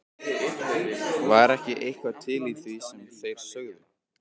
Var ekki eitthvað til í því sem þeir sögðu?